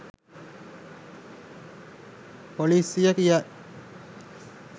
පොලිසිය කියයි.